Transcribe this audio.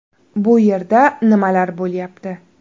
Bu yerda nimalar bo‘lyapti?